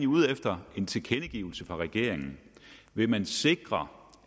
ude efter en tilkendegivelse fra regeringen vil man sikre